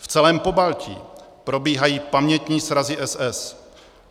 V celém Pobaltí probíhají pamětní srazy SS.